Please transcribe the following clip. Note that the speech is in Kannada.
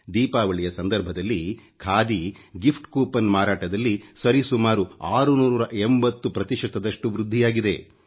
ದೀಪಾವಳಿಯ ಸಂದರ್ಭದಲ್ಲಿ ಖಾದಿ ಗಿಫ್ಟ್ ಕೂಪನ್ ಮಾರಾಟದಲ್ಲಿ ಸರಿ ಸುಮಾರು 680 ಪ್ರತಿಶತದಷ್ಟು ವೃದ್ಧಿಯಾಗಿದೆ